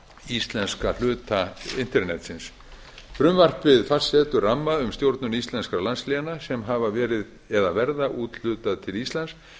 íslenska hluta internetsins frumvarpið fastsetur ramma um stjórnun íslenskra landsléna sem hafa verið eða verður úthlutað til íslands